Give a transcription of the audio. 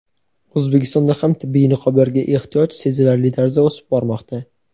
O‘zbekistonda ham tibbiy niqoblarga ehtiyoj sezilarli tarzda o‘sib bormoqda.